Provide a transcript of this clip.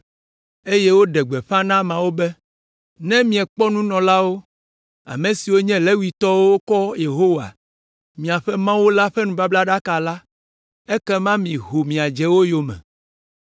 eye woɖe gbeƒã na ameawo be, “Ne miekpɔ nunɔlawo, ame siwo nye Levitɔwo wokɔ Yehowa, miaƒe Mawu la ƒe nubablaɖaka la, ekema miho miadze wo yome.